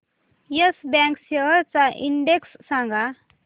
yes Bank shares चा index सांगा